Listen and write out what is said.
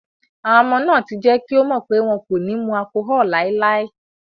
Àwọn ọmọ náà ti jẹ́ kí ó mọ̀ pé wọn kò ní mu allcohol láéláé.